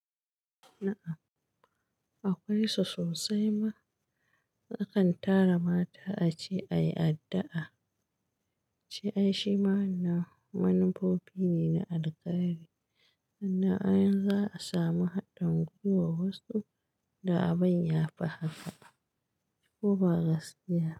Na'am, akwai su sosai ma. A kan tara mata a ce ayi addu'a. Ce ai shi ma na manufofi ne na alkari, sannan ai in za a samu haɗin gwuiwar wasu da abun ya fi haka ko ba gaskiya.